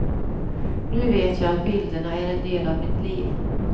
Nu vet jag att bilderna är en del av mitt liv.